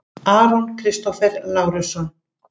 Aron Kristófer Lárusson